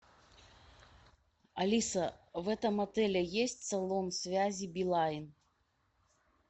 алиса в этом отеле есть салон связи билайн